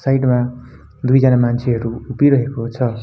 Side मा दुईजना मान्छेहरु उभिरहेको छ।